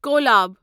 collab